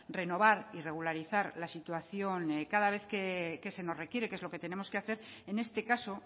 renovar y regularizar la situación cada vez que se nos requiere que es lo que tenemos que hacer en este caso